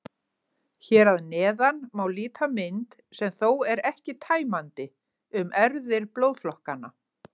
Hér að neðan má líta mynd, sem þó er ekki tæmandi, um erfðir blóðflokkanna.